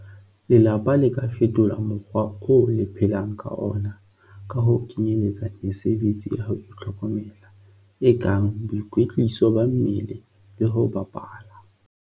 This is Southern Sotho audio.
Lelapa le ka fetola mokgwa oo le phelang ka ona ka ho kenyeletsa mesebetsi ya ho itlhokomela, e kang boikwetliso ba mmele le ho bapala.